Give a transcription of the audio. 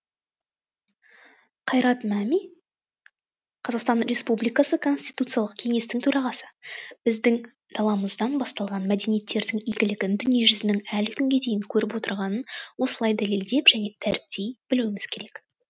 қайрат мәми қазақстан республикасы конституциялық кеңестің төрағасы біздің даламыздан басталған мәдениеттердің игілігін дүниежүзінің әлі күнге дейін көріп отырғанын осылай дәлелдеп және дәріптей білуіміз керек